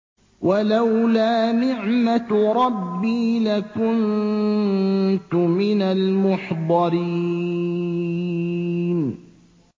وَلَوْلَا نِعْمَةُ رَبِّي لَكُنتُ مِنَ الْمُحْضَرِينَ